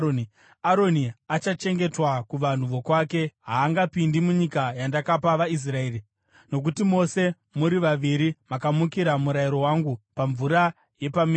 “Aroni achachengetwa kuvanhu vokwake. Haangapindi munyika yandakapa vaIsraeri, nokuti mose muri vaviri makamukira murayiro wangu pamvura yepaMeribha.